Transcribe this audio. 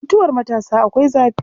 Mutuwar matasa akwai zafi.